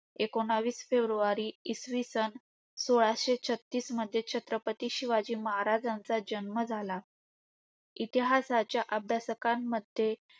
एकोणावीस फेब्रुवारी इसवी सन सोळाशे छत्तीसमध्ये छत्रपती शिवाजी महाराजांचा जन्म झाला. इतिहासाच्या अभ्यासाकांकाम्ध्ये